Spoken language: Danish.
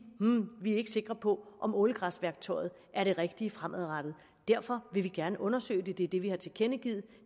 vi er ikke sikre på om ålegræsværktøjet er det rigtige fremadrettet derfor vil vi gerne undersøge det det er det vi har tilkendegivet